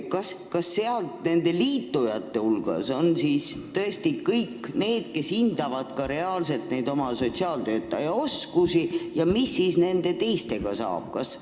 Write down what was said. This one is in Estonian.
Kas kõik need liitunud omavalitsused hindavad ka reaalselt oma sotsiaaltöötaja oskusi ja mis siis nendest teistest saab?